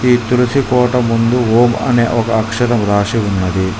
ఈ తులసి కోట ముందు ఓం అనే ఒక అక్షరం రాసి ఉన్నది.